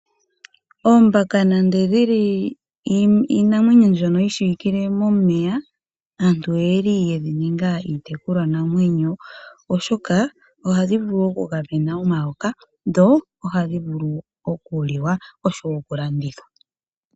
Oombaka nande dhi li iinamwenyo mbyono yi shiwikilwe momeya aantu oyedhi ninga iitekulwanamwenyo, oshoka ohadhi vulu okugamena omayoka dho ohadhi vulu okuliwa nokulandithwa.